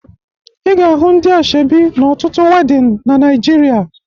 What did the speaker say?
Ị ga-ahụ ndị ashebi n'ọtụtụ wedịn na Naịjirịa